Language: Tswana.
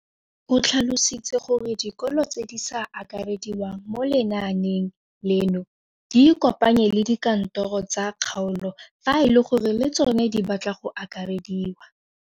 O tlhalositse gore dikolo tse di sa akarediwang mo lenaaneng leno di ikopanye le dikantoro tsa kgaolo fa e le gore le tsona di batla go akarediwa.